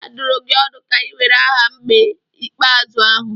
A dụrụ gị ọdụ ka ị were aha mgbe ikpeazụ ahụ.